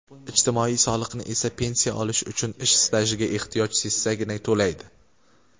ijtimoiy soliqni esa pensiya olish uchun ish stajiga ehtiyoj sezsagina to‘laydi.